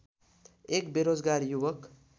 एक बेरोजगार युवक